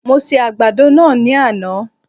Mo se àgbàdo náà ní àná